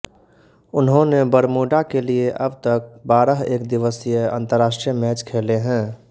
उन्होंने बरमूडा के लिए अब तक बारह एक दिवसीय अंतरराष्ट्रीय मैच खेले हैं